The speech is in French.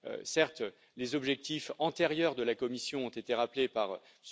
Certes, les objectifs antérieurs de la Commission ont été rappelés par M.